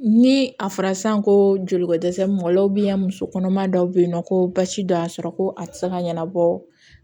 Ni a fɔra san ko joli ko dɛsɛ mɔlenw musokɔnɔma dɔw be yen nɔ ko basi dɔ y'a sɔrɔ ko a ti se ka ɲɛnabɔ